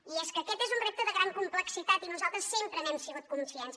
i és que aquest és un repte de gran complexitat i nosaltres sempre n’hem sigut conscients